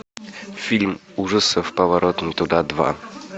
фильм ужасов поворот не туда два